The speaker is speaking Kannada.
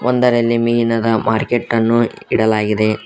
ಒಂದರಲ್ಲಿ ಮೀನದ ಮಾರ್ಕೆಟ್ ಅನ್ನು ಇಡಲಾಗಿದೆ.